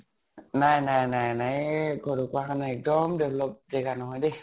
নাই নাই নাই নাই । য়ে ঢকোৱাখানা এক্দম develop জেগা নহয় দেই ।